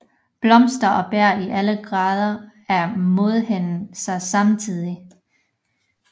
Blomster og bær i alle grader af modenhed ses samtidig